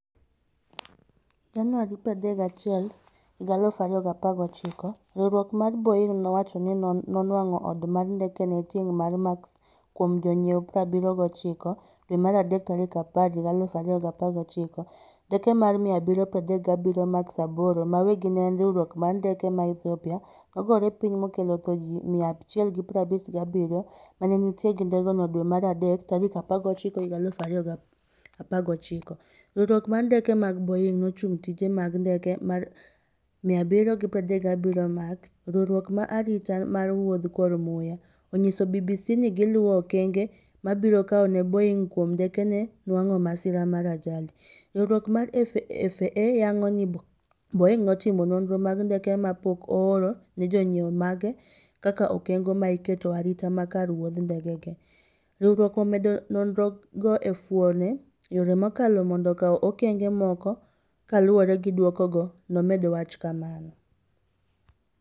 Januari 31 2019: Riwruok mar Boeing' nowacho ni nonwang'o oda mar ndekege tieng' mar Max kuom jonyiew79 dwe mar adek 10, 2019: Ndeke mar 737 Max 8 ma weggi ne en riwruok mar ndeke ma Ethiopia, nogore piny mokelo tho ji 157 mane nitie ei ndegeno dwe mar adek 14, 2019: Riwruok mar ndeke mag Boeing' nochungo tije mag ndeke mar 737 Max. Riwruok ma arita mar wuodh kor muya (FAA), onyiso BBC ni giluwo okenge mibiro kawne Boeing' kuom ndekege nwang'o masira mar ajali: Riwruok mar (FAA) yango ni Boeing' timo nonro mag ndeke ma pok oor ne jonyiew mage kaka okenge maiketo arita makar mag wuodh ndekege." Riwruokno omedo nonroge e fuono yore mokalo mondo okaw okenge moko kaluwore gi duokogo," nomedo wacho kamano.